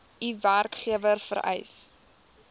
u werkgewer vereis